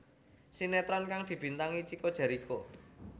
Sinetron kang dibintangi Chico Jericho